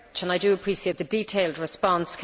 I do appreciate the detailed response.